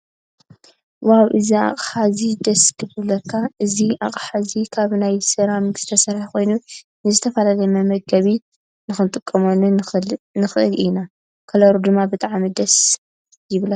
ዋው እዚ ኣቅሓ እዚ ደስ ክብለካ። እዚ ኣቅሓ እዚ ካብ ናይ ስራሚክ ዝተሰርሐ ኮይኑ ንዝተፈላለዩ መመገቢ ክንጥቀመሉ ንክእል ኢና። ከለሩ ድማ ብጣዕሚ ደስ ይብለካ።